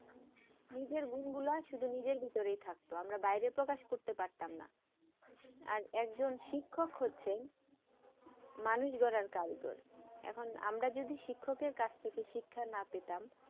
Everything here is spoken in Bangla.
নিজের গুন গুলা শুধু নিজের ভিতরে থাকতো আমরা বাইরে প্রকাশ করতে পাড়তাম না আর একজন শিক্ষক হচ্ছেন মানুষ গড়া কারিগর এখন আমরা যদি শিক্ষক কাছ থেকে শিক্ষা না পেতাম